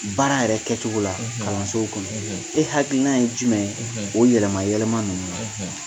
Baara yɛrɛ kɛcogo la kalansow kɔnɔ e hakilikina ye jumɛn ye o yɛlɛma yɛlɛma ninnu na? .